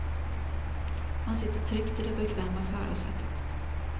Man sitter tryggt i det bekväma förarsätet.